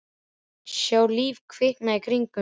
Sjá líf kvikna í kringum sig.